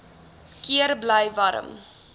keer bly warm